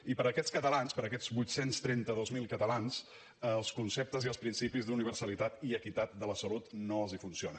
i per aquests catalans per aquests vuit cents i trenta dos mil catalans els conceptes i els principis d’universalitat i equitat de la salut no els funcionen